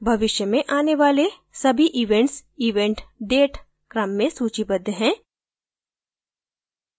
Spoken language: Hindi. भविष्य में आने वाले सभी events event date क्रम में सूचीबद्ध हैं